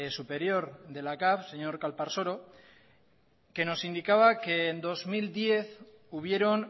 superior de la capv señor calparsoro que nos indicaba que en dos mil diez hubieron